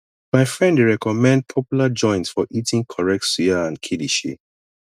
my friend dey recommend popular joint for eating correct suya and kilishi